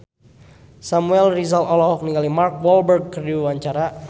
Samuel Rizal olohok ningali Mark Walberg keur diwawancara